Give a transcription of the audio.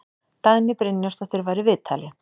Dagný Brynjarsdóttir var í viðtali.